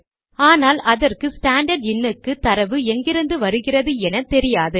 ஆனால் அதற்கு ஸ்டாண்டர்ட் இன் க்கு தரவு எங்கிருந்து வருகிறதென தெரியாது